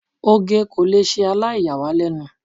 oge ko le sẹ alaiyawalenu